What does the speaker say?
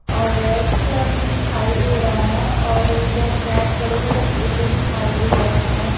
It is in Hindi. और रेड कलर से दिखाई दे रहा है और उधर बहुत बड़े-बड़े पेड़ दिखाई दे रहे है।